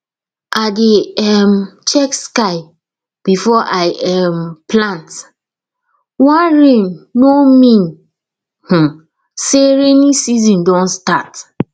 i dey um check sky before i um plant one rain no mean um say rainy season don start